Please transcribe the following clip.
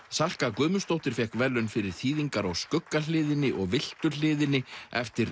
Salka Guðmundsdóttir fékk verðlaun fyrir þýðingar á skuggahliðinni og villtu hliðinni eftir